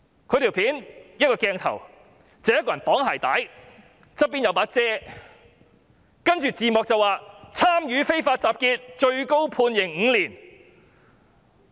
在短片中，鏡頭拍攝着一個人在綁鞋帶，身旁有一把雨傘，字幕寫上"參與非法集結最高判刑5年"。